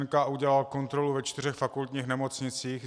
NKÚ udělal kontrolu ve čtyřech fakultních nemocnicích.